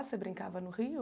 Você brincava no rio?